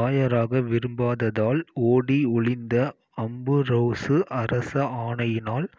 ஆயராக விரும்பாததால் ஓடி ஒளிந்த அம்புரோசு அரச ஆணையினால்